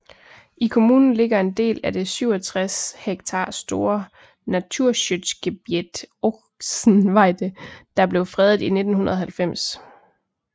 I kommunen ligger en del af det 67 ha store Naturschutzgebiet Ochsenweide der blev fredet i 1990